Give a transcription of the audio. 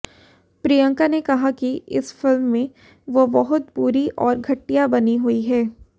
प्रियंका ने कहा कि इस फिल्म में वो बहुत बुरी और घटिया बनी हुई हैं